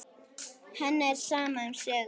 Henni er sama um sögur.